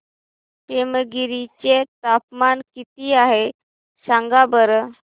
पेमगिरी चे तापमान किती आहे सांगा बरं